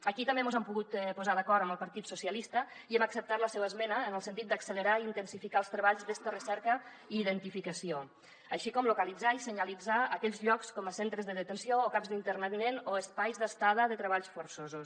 aquí també mos hem pogut posar d’acord amb el partit socialista i hem acceptat la seva esmena en el sentit d’accelerar i intensificar els treballs d’esta recerca i identificació així com localitzar i senyalitzar aquells llocs com els centres de detenció o camps d’internament o espais d’estada de treballs forçosos